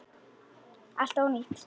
Allt ónýtt!